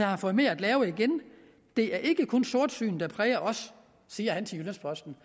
har fået mere at lave det er ikke kun sortsyn der præger os siger han til jyllands posten